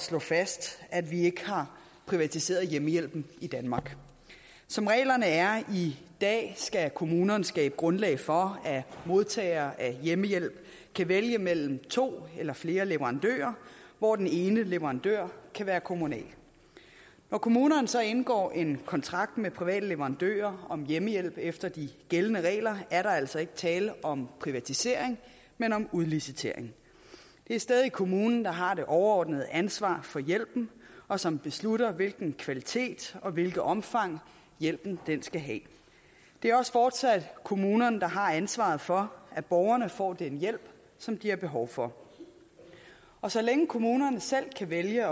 slå fast at vi ikke har privatiseret hjemmehjælpen i danmark som reglerne er i dag skal kommunerne skabe grundlag for at modtagere af hjemmehjælp kan vælge mellem to eller flere leverandører hvoraf den ene leverandør kan være kommunal når kommunerne så indgår en kontrakt med private leverandører om hjemmehjælp efter de gældende regler er der altså ikke tale om privatisering men om udlicitering det er stadig kommunen der har det overordnede ansvar for hjælpen og som beslutter hvilken kvalitet og hvilket omfang hjælpen skal have det er også fortsat kommunerne der har ansvaret for at borgerne får den hjælp som de har behov for og så længe kommunerne selv kan vælge